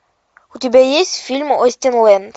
у тебя есть фильм остинленд